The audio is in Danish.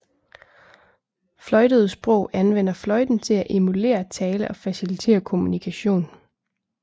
Fløjtede sprog anvender fløjten til at emulere tale og facilitere kommunikation